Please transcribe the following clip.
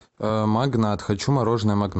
магнат хочу мороженое магнат